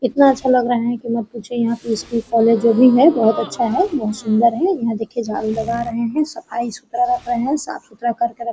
इतना अच्छा लग रहा है कि मत पूछिए यहाँ पे स्कूल कॉलेज जो भी है बहोत अच्छा है बहोत सुन्दर है यहाँ देखिये झाड़ू लगा रहे है सफाई सुथरा रख रहे है साफ़-सुथरा कर के रख --